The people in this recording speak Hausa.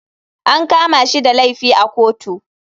An kama shi da laifi a kotu.